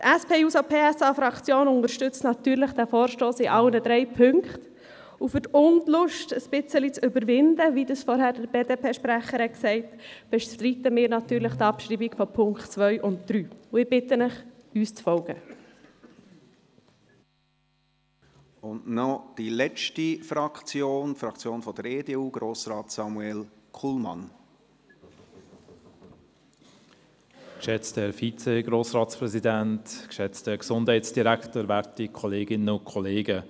Die SP-JUSO-PSA-Fraktion unterstützt natürlich diesen Vorstoss in allen drei Punkten, und um die «Unlust» etwas zu überwinden, wie es vorhin der BDPSprecher gesagt hat, bestreiten wir natürlich die Abschreibung von Punkt 2 und 3. Ich bitte Sie, uns zu folgen.